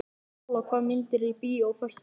Sóla, hvaða myndir eru í bíó á föstudaginn?